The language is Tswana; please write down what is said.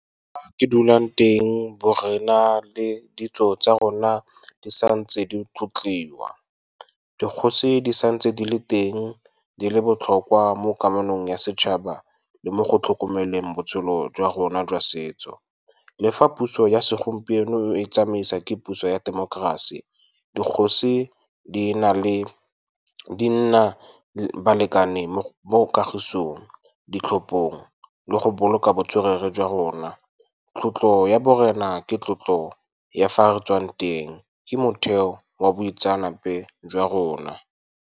Fa ke dulang teng borena le ditso tsa rona di sa ntse di tlotliwa. Dikgosi di sa ntse di le teng, di le botlhokwa mo kamanong ya setšhaba le mo go tlhokomeleng botshelo jwa rona jwa setso. Le fa puso ya segompieno e tsamaiswa ke puso ya temokerasi, dikgosi di nna balekane mo kagisong, ditlhophong le go boloka botswerere jwa rona. Tlotlo ya borena ke tlotlo ya fa re tswang teng, ke motheo wa boitseanape jwa rona.